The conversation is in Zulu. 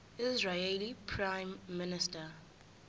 israeli prime minister